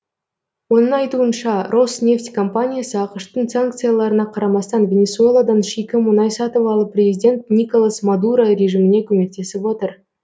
оның айтуынша роснефть компаниясы ақш тың санкцияларына қарамастан венесуэладан шикі мұнай сатып алып президент николас мадуро режиміне көмектесіп отыр